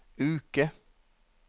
uke